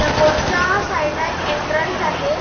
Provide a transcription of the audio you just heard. त्या बोट च्या साईड ला एक एन्ट्रन्स आहे.